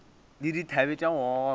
le dithabe tša go gogoba